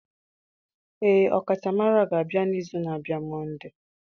Ee, ọkachamara ga-abịa n'izu na-abịa Monday